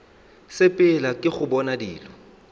sepela ke go bona dilo